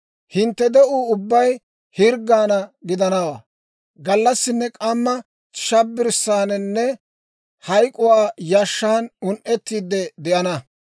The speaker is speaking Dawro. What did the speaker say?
Hintte de'uu ubbay hirggaana gidanawaa; gallassinne k'amma shabbirssaaninne hayk'uwaa yashshan un"ettiide de'ana.